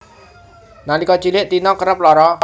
Nalika cilik Tina kerep lara